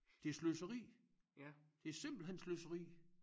Det sløseri det simpelthen sløseri